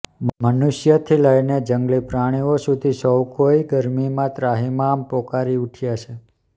મનુષ્યથી લઈને જંગલી પ્રાણીઓ સુધી સૌ કોઈ ગરમીમાં ત્રાહિમામ પોકારી ઉઠ્યા છે